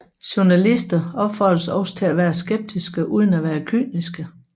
Journalister opfordres også til at være skeptiske uden at være kyniske